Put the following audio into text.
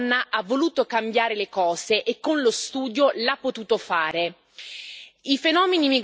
Questa piccola grande donna ha voluto cambiare le cose e con lo studio l'ha potuto fare.